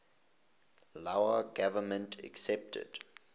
lao government accepted